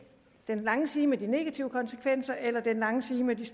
den lange side med de negative konsekvenser eller den lange side med de